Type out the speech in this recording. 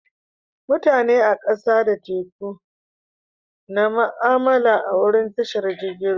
Mutane a kasa da teku na mu'amala a'wurin tashar jirigin ruwa.